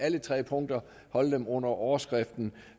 alle tre punkter under overskriften